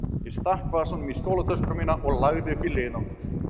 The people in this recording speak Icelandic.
Ég stakk vasanum í skólatöskuna mína og lagði upp í leiðangur.